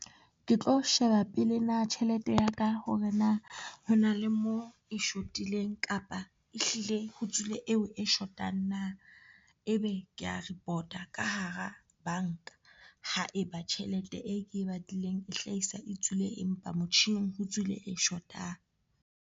Ke tlo sheba pele na tjhelete ya ka hore na ho na le mo e shotileng kapa ehlile ho tswile eo e shotang na ebe ke ya report-a ka hara banka haeba tjhelete e ke e batlileng e hlahisa e tswile empa motjhining ho tswile e shotang.